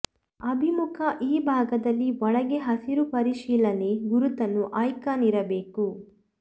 ಅಭಿಮುಖ ಈ ಭಾಗದಲ್ಲಿ ಒಳಗೆ ಹಸಿರು ಪರಿಶೀಲನೆ ಗುರುತನ್ನು ಐಕಾನ್ ಇರಬೇಕು